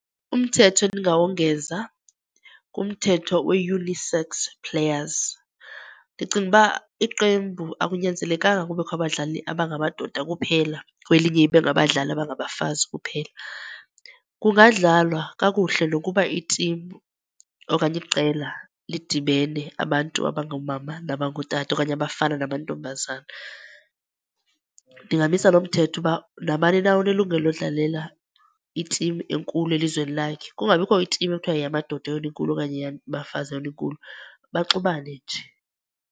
Umthetho endingawongeza ngumthetho wee-unisex players. Ndicinga uba iqembu akunyanzelekanga kubekho abadlali abangamadoda kuphela kwelinye ibe ngabadlali abangabafazi kuphela. Kungadlalwa kakuhle nokuba itimu okanye iqela lidibene abantu abangoomama nabangootata, okanye abafana namantombazana. Ndingamisa loo mthetho uba nabani na unelungelo lodlalela itimu enkulu elizweni lakhe. Kungabikho itimu ekuthiwa yeyamadoda yeyona inkulu okanye eyabafazi yeyona inkulu, baxubane nje.